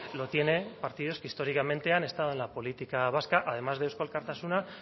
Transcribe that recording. lo tiene partidos que históricamente han estado en la política vasca además de eusko alkartasuna